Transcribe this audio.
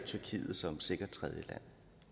tyrkiet som et sikkert tredjeland